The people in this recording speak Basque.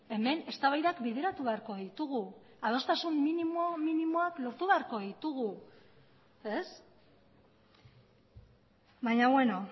hemen eztabaidak bideratu beharko ditugu adostasun minimo minimoak lortu beharko ditugu ez baina beno